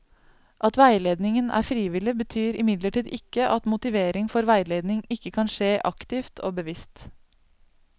At veiledningen er frivillig, betyr imidlertid ikke at motivering for veiledning ikke kan skje aktivt og bevisst.